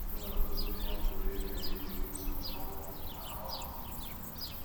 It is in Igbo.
E nwere ọtụtụ ihe a pụrụ ime iji lụsoo owu ọmụma ọgụ.